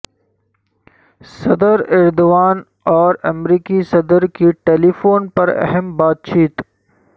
صدر ایردوان اور امریکی صدر کی ٹیلی فون پر اہم بات چیت